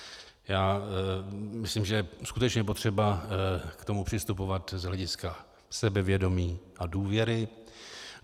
Já myslím, že je skutečně potřeba k tomu přistupovat z hlediska sebevědomí a důvěry.